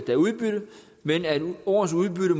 er udbytte men at årets udbytte